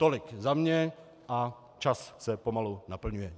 Tolik za mě, a čas se pomalu naplňuje.